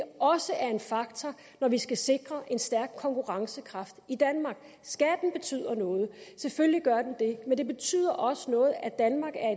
også er en faktor når vi skal sikre en stærk konkurrencekraft i danmark skatten betyder noget selvfølgelig gør den det men det betyder også noget at danmark er